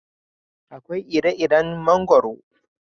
Akwai ire iren mangwaro